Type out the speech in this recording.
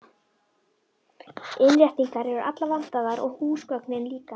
Innréttingar eru allar vandaðar og húsgögnin líka.